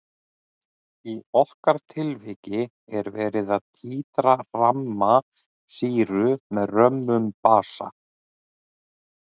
Í okkar tilviki er verið að títra ramma sýru með römmum basa.